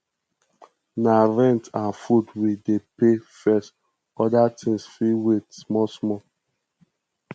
na rent and food we dey pay first oda tins fit wait small small